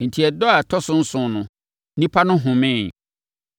Enti, ɛda a ɛtɔ so nson no, nnipa no homee.